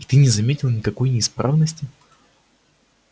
и ты не заметил никакой неисправности